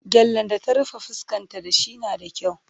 Gyallen da ta rufe fuskanta da shi na da kyau.